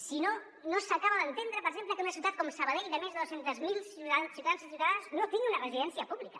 si no no s’acaba d’entendre per exemple que una ciutat com sa·badell de més de dos cents miler ciutadans i ciutadanes no tingui una residència pública